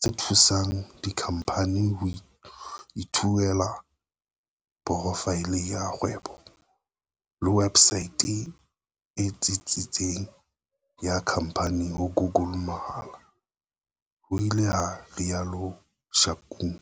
tse thusang dikhamphani ho ithuela porofaele ya kgwebo le websaete e tsitsitseng ya khamphani ho Google mahala," ho ile ha rialo Shakung.